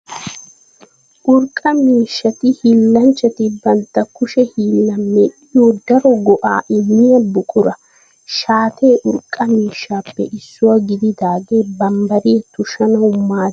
Urqqa miishshati hiillanchchati bantta kushe hiillan medhiyo daro go'aa immiya buqura. Shaate urqqa miishshappe issuwa gididdage bambbariya tushshanawu maaddiya urqqa miishsha.